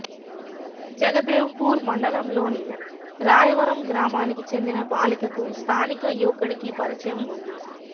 జగదేవ్పూర్ మండలంలోని రాయవరం గ్రామానికి చెందిన బాలికకు స్థానిక యువకుడికి పరిచయం ఉంది